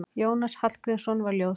Jónas Hallgrímsson var ljóðskáld.